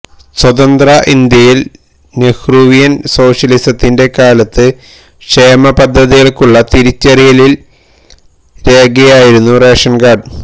സ്വതന്ത്ര ഇന്ത്യയില് നെഹ്രുവിയന് സോഷ്യലിസത്തിന്റെ കാലത്ത് ക്ഷേമപദ്ധതികള്ക്കുള്ള തിരിച്ചറിയില് രേഖയായിരുന്നു റേഷന്കാര്ഡ്